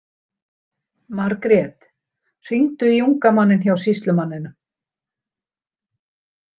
Margrét, hringdu í unga manninn hjá sýslumanninum.